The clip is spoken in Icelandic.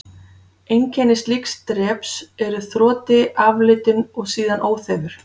Einkenni slíks dreps eru þroti, aflitun og síðan óþefur.